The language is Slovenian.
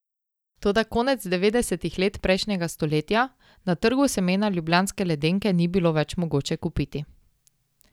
Toda konec devetdesetih let prejšnjega stoletja na trgu semena ljubljanske ledenke ni bilo več mogoče kupiti.